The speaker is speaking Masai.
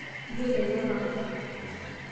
Iiyio ele panga.